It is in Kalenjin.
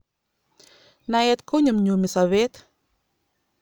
Naet konyumyumi sobet